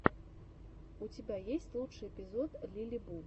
у тебя есть лучший эпизод лилибу